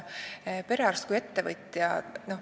Perearst kui ettevõtja.